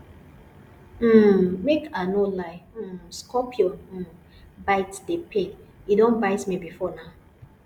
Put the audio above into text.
um make i no lie um scorpion um bite dey pain e don bite me before nah